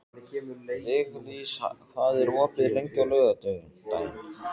Viglís, hvað er opið lengi á laugardaginn?